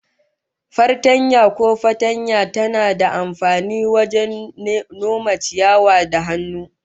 Fartanya ko fatanya tana da amfani wajen noman ciyawa da hannu